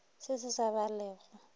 se sa ba le go